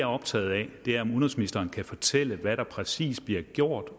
optaget af er om udenrigsministeren kan fortælle hvad der præcis bliver gjort